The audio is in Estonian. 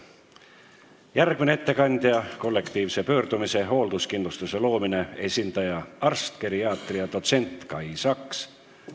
Järgmine ettekandja on kollektiivse pöördumise "Hoolduskindlustuse loomine" esindaja, arst, geriaatria dotsent Kai Saks.